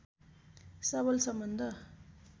सबल सम्बन्ध